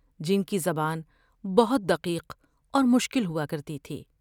جن کی زبان بہت دقیق اور مشکل ہوا کرتی تھی ۔